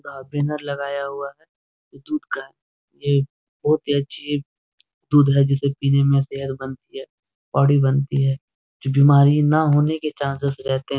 यहाँ बैनर लगाया हुआ है जो दूध का है यह एक बहुत ही अच्छी दूध है जिसे पीने में सेहत बनती है बॉडी बनती है जो बीमारी न होने के चान्सेस रहते है --